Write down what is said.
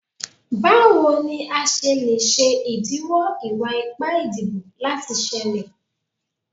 Bawo ni a ṣe le ṣe idiwọ iwa-ipa idibo lati ṣẹlẹ?